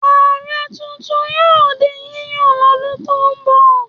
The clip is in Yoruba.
Ààrẹ tuntun yóò di yíyàn lọ́dún tó ń bọ̀.